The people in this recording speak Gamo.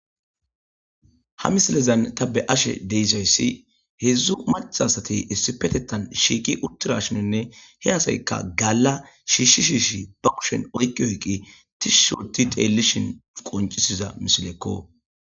ha misilezan ta be'ashe deyssayssi hedzdzu maca asatey issi petettan shiiqi uttirashinonne he asaykka galla shiishi shiishi ba kushen oyqi oyqi tishuishoti teellishin qoncisiza misilekko